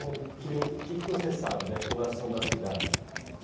que lin, o que que você sabe da fundação da cidade?